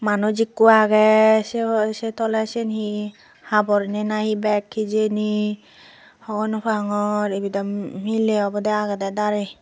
manuj ekko agey sey sey toley sen hi habor ne nahi beg hijeni hogonopangor ibe daw miley obodey agedey darey.